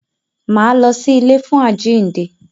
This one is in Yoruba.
Máa lọ sí ilé fún àjínde.